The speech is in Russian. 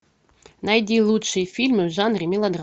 найди лучшие фильмы в жанре мелодрама